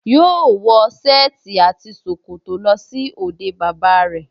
Yóò wọ sẹ́ẹ̀tì àti ṣòkòtò lọ sí òde bàbá rẹ̀